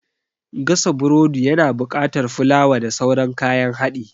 Gasa burodi ya na buƙatar fulawa da sauran kayan haɗi